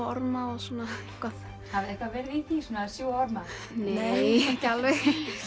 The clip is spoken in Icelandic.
orma og svona eitthvað hafiði eitthvað verið í því svona að sjúga orma nei ekki alveg